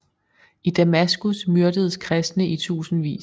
I Damaskus myrdedes kristne i tusindvis